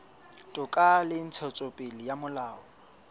toka le ntshetsopele ya molao